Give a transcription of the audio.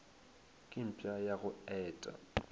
ke mpša ya go eta